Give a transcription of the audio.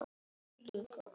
FYRIR STUBB!